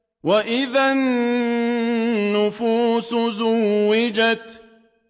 وَإِذَا النُّفُوسُ زُوِّجَتْ